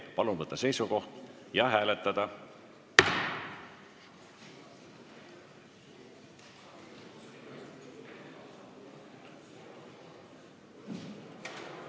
Palun võtta seisukoht ja hääletada!